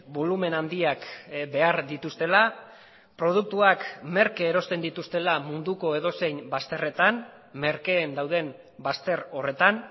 bolumen handiak behar dituztela produktuak merke erosten dituztela munduko edozein bazterretan merkeen dauden bazter horretan